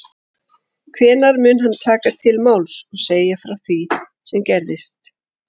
Hvenær mun hann taka til máls og segja frá því sem gerðist?